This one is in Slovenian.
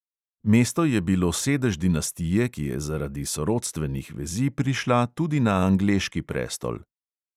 Mesto je bilo sedež dinastije, ki je zaradi sorodstvenih vezi prišla tudi na angleški prestol.